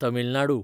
Tamil Nadu